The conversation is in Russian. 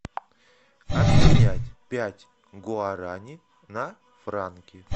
обменять пять гуарани на франки